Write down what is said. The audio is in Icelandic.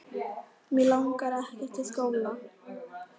Mig langar ekkert í skóla.